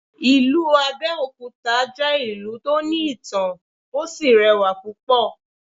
Ìlú Abẹ́òkúta jẹ́ ìlú tó ní ìtàn, ó sì rẹwà púpọ̀.